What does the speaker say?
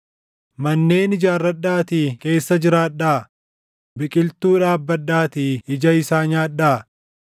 “Manneen ijaarradhaatii keessa jiraadhaa; biqiltuu dhaabbadhaatii ija isaa nyaadhaa.